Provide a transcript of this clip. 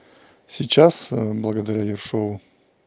сейчас благодаря ершову